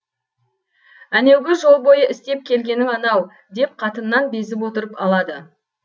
әнеугі жол бойы істеп келгенің анау деп қатыннан безіп отырып алады